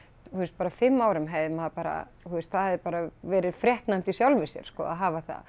bara fimm árum hefði maður bara þú veist það hefði bara verið fréttnæmt í sjálfu sér sko að hafa það